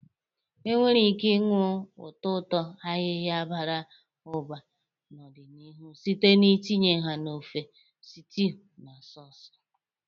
Ị nwere ike ịnụ ụtọ ụtọ ayiya bara ụba n'ọdịniihu site n'itinye ha na ofe, stews, na sauces.